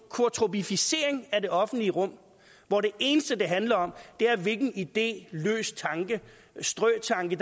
quortrupificering af det offentlige rum hvor det eneste det handler om er hvilken idé løs tanke eller strøtanke